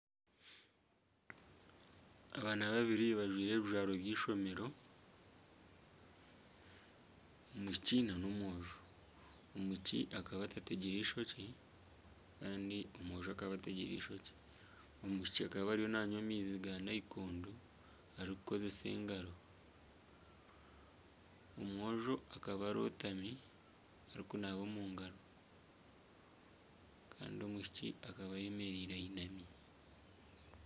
Abaana babiri bajwire ebijwaro by'eishomero omwishiki na nomwojo. Omwishiki akaba atategyire ishokye kandi omwojo akaba ategire ishokye. Omwishiki akaba ariyo nanywa amaizi ga nayikondo arikukozesa engaro. Omwojo akaba arotami arikunaaba omungaro kandi omwishiki akaba ayemereire ayinami.